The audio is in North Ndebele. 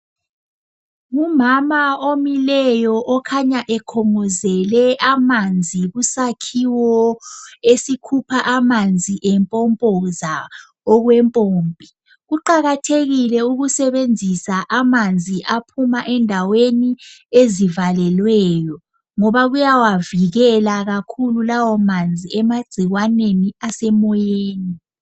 Ngumama omileyo okhanya ekhongozele amanzi kusakhiwo esikhupha amanzi empompoza okwempompi. Kuqakathekile ukusebenzisa amanzi aphuma endaweni ezivalelweyo, ngoba kuyawavikela kakhulu lawo manzi emagcikwaneni asemoyeni.